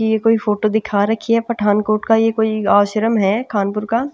ये कोई फोटो दिखा रखी है पठानकोट का ये कोई आश्रम है खानपुर का--.